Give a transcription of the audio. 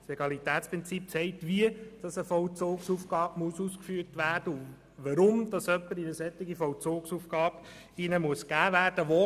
Das Legalitätsprinzip zeigt, wie eine Vollzugsaufgabe ausgeführt werden muss und warum jemand in eine solche Vollzugaufgabe gegeben werden muss.